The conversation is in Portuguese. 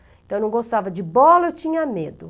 Então, eu não gostava de bola, eu tinha medo.